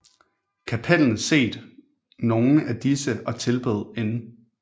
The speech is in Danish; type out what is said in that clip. Cappelen set nogle af disse og tilbød N